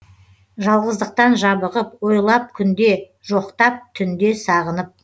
жалғыздықтан жабығып ойлап күнде жоқтап түнде сағынып